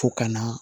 Fo ka na